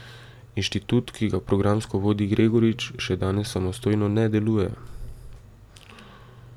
Inštitut, ki ga programsko vodi Gregorič, še danes samostojno ne deluje.